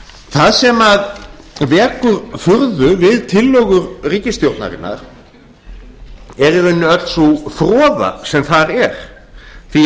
það sem vekur furðu við tillögur ríkisstjórnarinnar er í rauninni öll sú froða sem þar er því